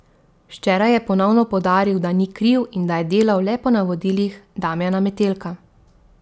Včeraj je ponovno poudaril, da ni kriv in da je delal le po navodilih Damjana Metelka.